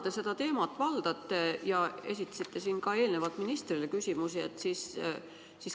Te seda teemat valdate ja esitasite ka eelnevalt ministrile küsimusi.